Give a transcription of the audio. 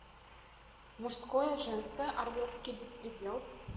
мужское женское орловский беспредел